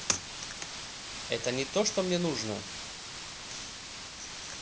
это не то что мне нужно